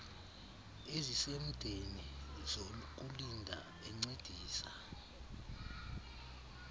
ezisemdeni zokulinda encedisa